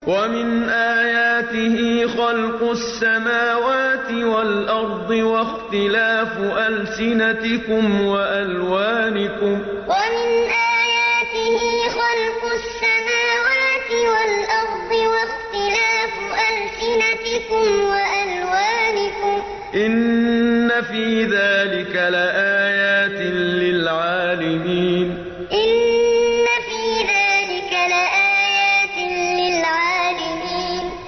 وَمِنْ آيَاتِهِ خَلْقُ السَّمَاوَاتِ وَالْأَرْضِ وَاخْتِلَافُ أَلْسِنَتِكُمْ وَأَلْوَانِكُمْ ۚ إِنَّ فِي ذَٰلِكَ لَآيَاتٍ لِّلْعَالِمِينَ وَمِنْ آيَاتِهِ خَلْقُ السَّمَاوَاتِ وَالْأَرْضِ وَاخْتِلَافُ أَلْسِنَتِكُمْ وَأَلْوَانِكُمْ ۚ إِنَّ فِي ذَٰلِكَ لَآيَاتٍ لِّلْعَالِمِينَ